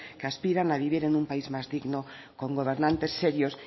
que aspiran a vivir en un país más digno con gobernantes serios